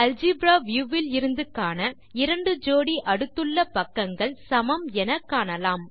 algebra view விலிருந்து காண 2 ஜோடி அடுத்துள்ள பக்கங்கள் சமம் எனக் காணலாம்